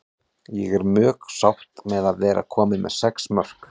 Ég er mjög sátt með að vera komin með sex mörk.